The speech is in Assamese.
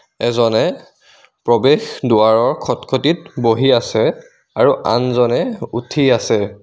এজনে প্ৰৱেশ দুৱাৰৰ খট খটিত বহি আছে আৰু আনজনে উঠি আছে।